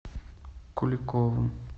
куликовым